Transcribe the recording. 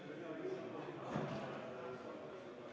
Palun võtta seisukoht ja hääletada!